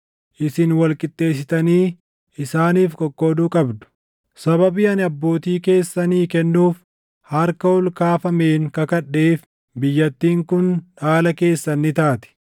Isin wal qixxeessitanii isaaniif qoqqooduu qabdu. Sababii ani abbootii keessanii kennuuf harka ol kaafameen kakadheef biyyattiin kun dhaala keessan ni taati.